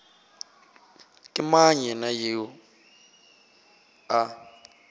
ke mang yena yoo a